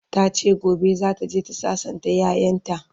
tace gobe zataje ta sassanta ƴaƴanta